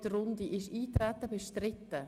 Ist das Eintreten bestritten?